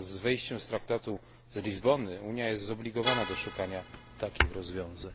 Wraz z wejściem w życie Traktatu z Lizbony Unia jest zobligowana do szukania takich rozwiązań.